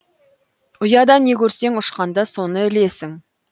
ұяда не көрсең ұшқанда соны ілесің